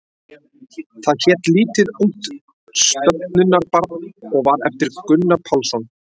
Það hét Lítið ungt stöfunarbarn og var eftir Gunnar Pálsson.